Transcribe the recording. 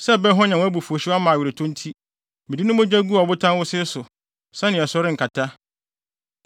Sɛ ɛbɛhwanyan abufuwhyew ama aweretɔ nti mede ne mogya guu ɔbotan wosee so sɛnea ɛso renkata.